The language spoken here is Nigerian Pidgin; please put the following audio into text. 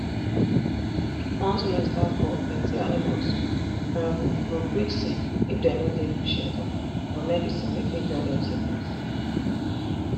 once rain start fall plenty animals um go quick sick if dem no get good shelter or medicine wey fit cure dem sickness